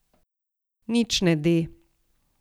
Nič ne de.